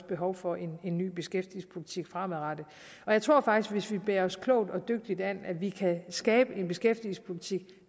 behov for en ny beskæftigelsespolitik fremadrettet og jeg tror faktisk at hvis vi bærer os klogt og dygtigt ad kan vi skabe en beskæftigelsespolitik